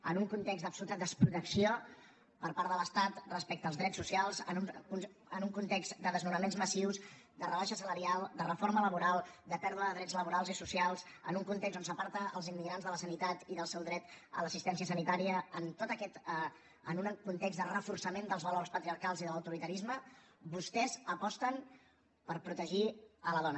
en un context d’absoluta desprotecció per part de l’estat respecte als drets socials en un context de desnonaments massius de rebaixa salarial de reforma laboral de pèrdua de drets laborals i socials en un context on s’aparta els immigrants de la sanitat i del seu dret a l’assistència sanitària en un context de reforçament dels valors patriarcals i de l’autoritarisme vostès aposten per protegir la dona